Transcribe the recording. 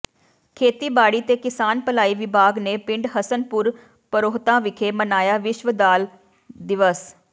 ਖੇਤੀਬਾੜੀ ਤੇ ਕਿਸਾਨ ਭਲਾਈ ਵਿਭਾਗ ਨੇ ਪਿੰਡ ਹਸਨਪੁਰ ਪਰੋਹਤਾਂ ਵਿਖੇ ਮਨਾਇਆ ਵਿਸ਼ਵ ਦਾਲ ਦਿਵਸ